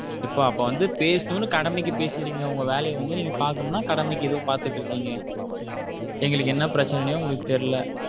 ஏன்பா அப்போ வந்து பேசணும்னு கடமைக்கு பேசுறீங்க உங்க வேலைய வந்து நீங்க பாக்கனும்னா கடமைக்கு எதோ பாத்துட்டு இருக்கீங்க எங்களுக்கு என்ன பிரச்சனைனே உங்களுக்குதெரியல.